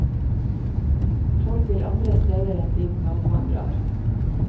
Folk vil andre steder enn dit naboen drar.